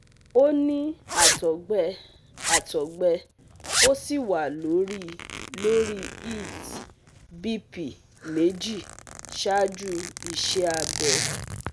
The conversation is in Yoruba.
Ó ní àtọ̀gbẹ àtọ̀gbẹ ó sì wà lórí lórí eds BP méjì ṣáájú iṣẹ́ abẹ